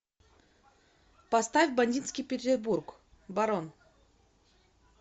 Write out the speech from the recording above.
поставь бандитский петербург барон